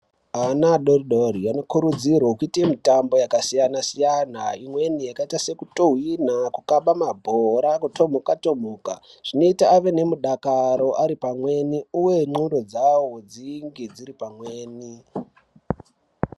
Ana adori dori anokurudzirwe kuite mitambo yaka siyana siyana imweni yakaita seku tuhwina ku kaba mabhora ku twomhuka twomhuka zvinoita ave ne mudakaro ari pamweni uye ndxondo dzavo dzinge dziri pamweni.